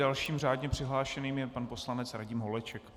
Dalším řádně přihlášeným je pan poslanec Radim Holeček.